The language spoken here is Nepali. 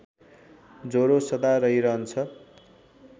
ज्वरो सदा रहिरहन्छ